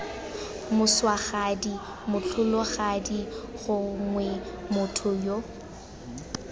moswagadi motlholagadi gongwe motho yo